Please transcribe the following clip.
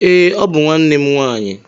Ee, ọ bụ nwanne m nwanyị.